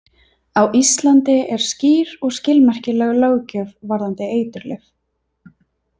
Á Íslandi er skýr og skilmerkileg löggjöf varðandi eiturlyf.